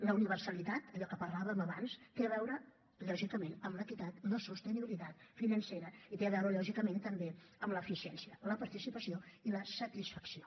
la universalitat allò que parlàvem abans té a veure lògicament amb l’equitat la sostenibilitat financera i té a veure també amb l’eficiència la participació i la satisfacció